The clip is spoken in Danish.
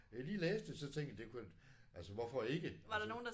Jeg lige læste det så tænkte jeg det kunne altså hvorfor ikke altså